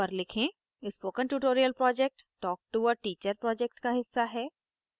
spoken tutorial project talktoa teacher project का हिस्सा है